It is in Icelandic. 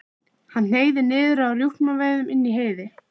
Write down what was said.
Hann hneig niður á rjúpnaveiðum inni í Heiði.